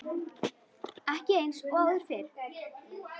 Ekki eins og áður fyrr.